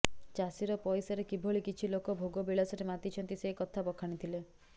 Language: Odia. ଚାଷୀର ପଇସାରେ କିଭଳି କିଛି ଲୋକ ଭୋଗ ବିଳାସରେ ମାତିଛନ୍ତି ସେ କଥା ବଖାଣିଥିଲେ